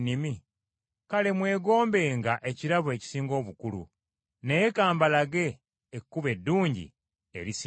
Kale mwegombenga ebirabo ebisinga obukulu, naye ka mbalage ekkubo eddungi erisinga gonna.